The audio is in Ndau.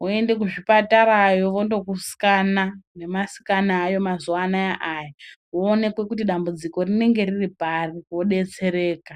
woende kuzvipatarayo vondokuscanner nemascanner ayo mazuvaanaya aya voona kuti dambudziko riripari wodetsereka.